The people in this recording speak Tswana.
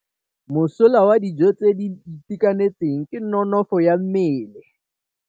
Mosola wa dijô tse di itekanetseng ke nonôfô ya mmele.